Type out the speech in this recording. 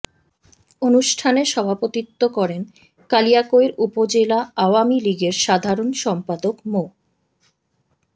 অনুষ্ঠানে সভাপতিত্ব করেন কালিয়াকৈর উপজেলা আওয়ামী লীগের সাধারণ সম্পাদক মো